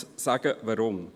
Ich möchte sagen, weshalb.